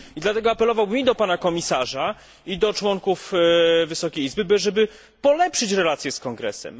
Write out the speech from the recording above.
I dlatego apelowałbym i do pana komisarza, i do członków wysokiej izby, żeby polepszyć relacje z Kongresem.